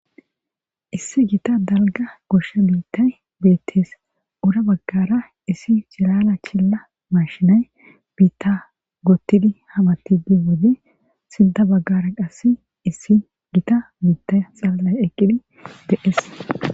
Issi githa dalga gosha bithayi betees ola bagara issi girara kena mashinayi bitha gotidi hametidi deyo wode sintha bagara qasi issi gita mithayi eqidi de,ees